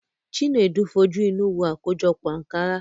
Chinedu fojú inú wo àkójọpọ̀ Ànkárá.